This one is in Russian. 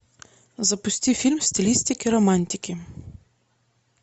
запусти фильм в стилистике романтики